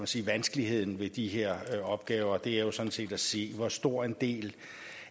sige vanskeligheden ved de her opgaver er sådan set at se hvor stor en del